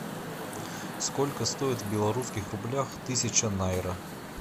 сколько стоит в белорусских рублях тысяча найра